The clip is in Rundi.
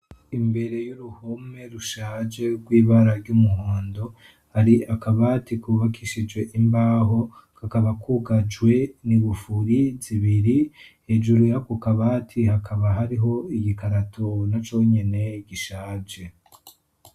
Imbere y'uruhome rushaje rw ibara ry'umuhondo ari akabati kubakishijwe imbaho kakaba kwugajwe ni gufuri zibiri hejuru ya kukabati hakaba hariho igikarato na conyene gishaje.